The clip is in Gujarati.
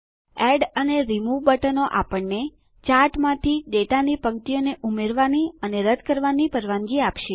એડ અને રિમૂવ બટનો આપણને ચાર્ટમાંથી ડેટાની પંક્તિઓને ઉમેરવાની અથવા રદ્દ કરવાની પરવાનગી આપશે